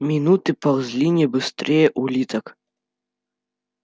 минуты ползли не быстрее улиток